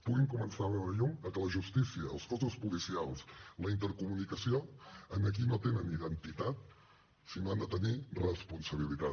puguin començar a veure llum a que la justícia els cossos policials la intercomunicació aquí no tenen identitat sinó que han de tenir responsabilitat